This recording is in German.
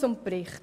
Zum Bericht: